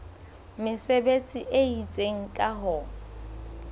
mesebetsi e itseng ka ho